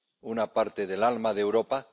una parte del alma de Europa.